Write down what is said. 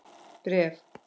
Bréf?